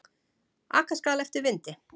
Aka skal eftir vindi.